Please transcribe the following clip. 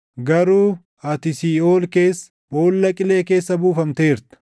Garuu ati siiʼool keessa, boolla qilee keessa buufamteerta.